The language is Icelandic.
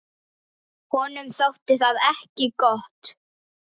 Honum þótti það ekki gott.